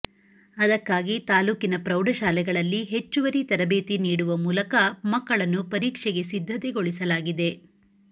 ಅದಕ್ಕಾಗಿ ತಾಲೂಕಿನ ಪ್ರೌಢಶಾಲೆಗಳಲ್ಲಿ ಹೆಚ್ಚುವರಿ ತರಬೇತಿ ನೀಡುವ ಮೂಲಕ ಮಕ್ಕಳನ್ನು ಪರೀಕ್ಷೆಗೆ ಸಿದ್ಧತೆಗೊಳಿಸಲಾಗಿದೆ